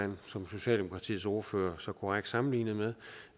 har som socialdemokratiets ordfører så korrekt sammenlignede med